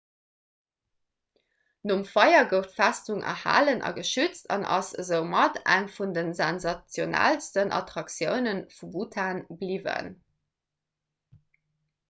nom feier gouf d'festung erhalen a geschützt an ass esoumat eng vun de sensationellsten attraktioune vu bhutan bliwwen